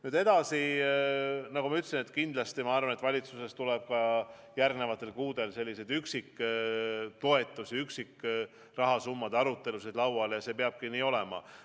Nüüd edasi, nagu ma ütlesin, valitsuses tuleb järgnevatel kuudel selliseid üksiktoetusi, üksikrahasummade arutelusid lauale ja see peabki nii olema.